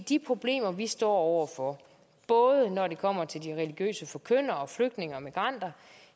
de problemer vi står over for både når det kommer til de religiøse forkyndere og flygtninge og migranter